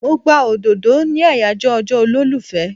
Mo gba òdòdó ní àyàjọ́ ọjọ́ olólùfẹ́.